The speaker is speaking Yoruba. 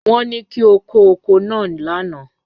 Won ni ki o ko oko naa lana.